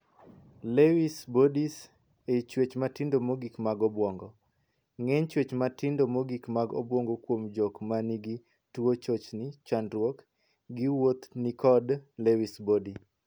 'Lewy Bodies' ei chuech matindo mogik mag obuongo. Ng'eny chuech matindo mogik mag obuongo kuom jok man gi tuo chochni (chandruok) gi wuoth ni kod 'Lewy Bodies'.